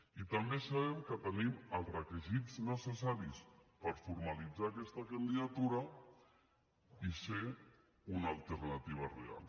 i també sabem que tenim els requisits necessaris per formalitzar aquesta candidatura i ser una alternativa real